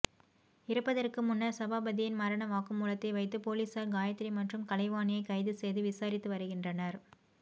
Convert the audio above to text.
இறப்பதற்கு முன்னர் சபாபதியின் மரண வாக்குமூலத்தை வைத்து பொலிசார் காயத்ரி மற்றும் கலைவாணியை கைது செய்து விசாரித்து வருகின்றனர்